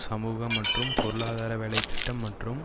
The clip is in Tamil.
சமூக மற்றும் பொருளாதார வேலைதிட்டம் மற்றும்